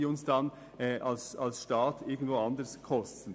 Sie würden unseren Staat sonst an einer anderen Stelle Geld kosten.